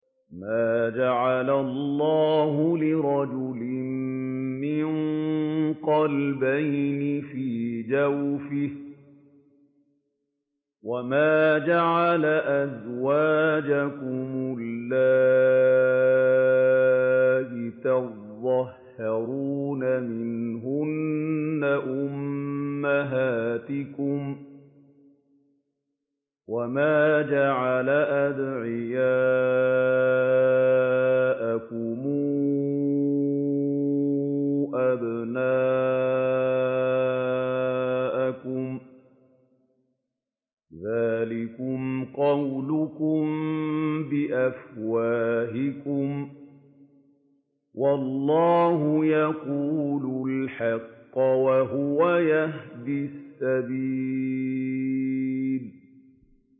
مَّا جَعَلَ اللَّهُ لِرَجُلٍ مِّن قَلْبَيْنِ فِي جَوْفِهِ ۚ وَمَا جَعَلَ أَزْوَاجَكُمُ اللَّائِي تُظَاهِرُونَ مِنْهُنَّ أُمَّهَاتِكُمْ ۚ وَمَا جَعَلَ أَدْعِيَاءَكُمْ أَبْنَاءَكُمْ ۚ ذَٰلِكُمْ قَوْلُكُم بِأَفْوَاهِكُمْ ۖ وَاللَّهُ يَقُولُ الْحَقَّ وَهُوَ يَهْدِي السَّبِيلَ